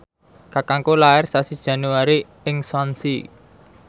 kakangku lair sasi Januari ing Swansea